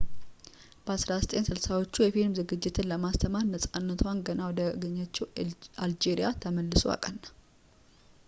በ1960ዎቹ የፊልም ዝግጅትን ለማስተማር ነፃነቷን ገና ወዳገኘችው አልጄሪያ ተመልሶ አቀና